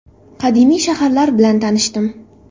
Qadimiy shaharlar bilan tanishdim.